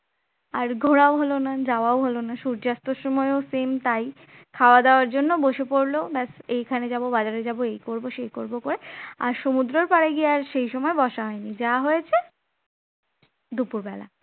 আর ঘোরাও হলো না যাওয়া হলো না সূর্যাস্তের সময়ও same তাই খাওয়া দেওয়ার জন্য বসে পড়ল ব্যাস এখানে যাব, বাজারে যাব, এই করব, সেই করব করে আর সমুদ্রের পাড়ে গিয়ে আর সেই সময় বসা হয়নি যা হয়েছে দুপুরবেলা